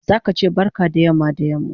Zaka che barka da yamma da yamma